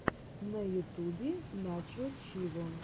на ютубе начо виво